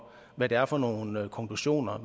hvad det er for nogle konklusioner